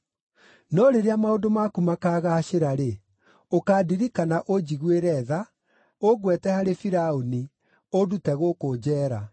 No rĩrĩa maũndũ maku makaagaacĩra-rĩ, ũkandirikana ũnjiguĩre tha, ũngweete harĩ Firaũni, ũndute gũkũ njeera.